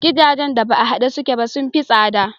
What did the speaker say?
Gidajen da ba a haɗe suke ba sun fi tsada.